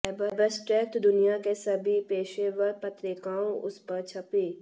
abstract दुनिया के सभी पेशेवर पत्रिकाओं उस पर छपी